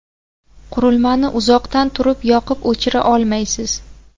Qurilman iuzoqdan turib yoqib-o‘chira olmaysiz.